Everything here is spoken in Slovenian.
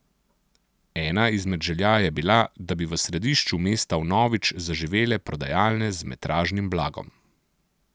Ena izmed želja je bila, da bi v središču mesta vnovič zaživele prodajalne z metražnim blagom.